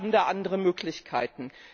Wir haben da andere Möglichkeiten.